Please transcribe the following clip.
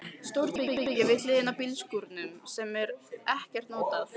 Stórt herbergi við hliðina á bílskúrnum sem er ekkert notað.